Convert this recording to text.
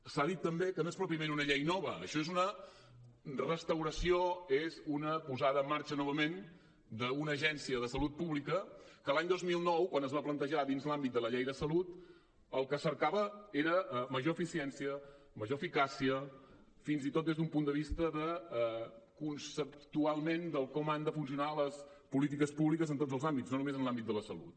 s’ha dit també que no és pròpiament una llei nova això és una restauració és una posada en marxa novament d’una agència de salut pública que l’any dos mil nou quan es va plantejar dins l’àmbit de la llei de salut el que cercava era major eficiència major eficàcia fins i tot des d’un punt de vista conceptualment de com han de funcionar les polítiques públiques en tots els àmbits no només en l’àmbit de la salut